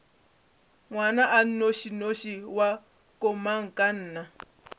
ngwana a nnošinoši wa komangkanna